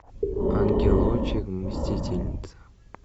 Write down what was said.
ангелочек мстительница